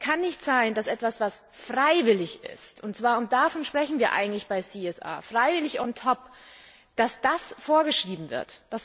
Es kann nicht sein, dass etwas, was freiwillig ist, und zwar und davon sprechen wir eigentlich bei CSR freiwillig on top vorgeschrieben wird.